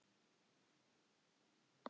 Hún var eins og gegnsæ kringla.